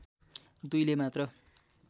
दुईले मात्र